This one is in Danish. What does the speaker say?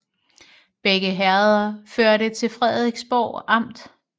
Begge herreder hørte til Frederiksborg Amt